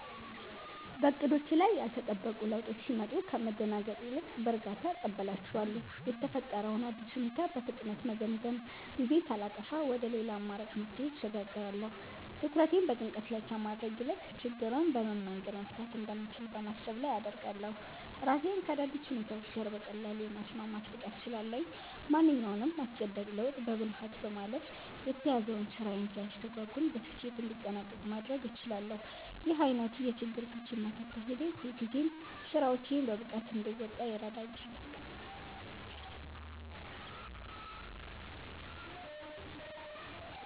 በዕቅዶቼ ላይ ያልተጠበቁ ለውጦች ሲመጡ ከመደናገጥ ይልቅ በእርጋታ እቀበላቸዋለሁ። የተፈጠረውን አዲስ ሁኔታ በፍጥነት በመገምገም፣ ጊዜ ሳላጠፋ ወደ ሌላ አማራጭ መፍትሄ እሸጋገራለሁ። ትኩረቴን በጭንቀት ላይ ከማድረግ ይልቅ ችግሩን በምን መንገድ መፍታት እንደምችል በማሰብ ላይ አደርጋለሁ። ራሴን ከአዳዲስ ሁኔታዎች ጋር በቀላሉ የማስማማት ብቃት ስላለኝ፣ ማንኛውንም አስገዳጅ ለውጥ በብልሃት በማለፍ የተያዘው ስራዬ ሳይስተጓጎል በስኬት እንዲጠናቀቅ ማድረግ እችላለሁ። ይህ ዓይነቱ የችግር ፈቺነት አካሄዴ ሁልጊዜም ስራዎቼን በብቃት እንድወጣ ይረዳኛል።